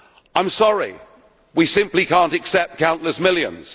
I am sorry, we simply cannot accept countless millions.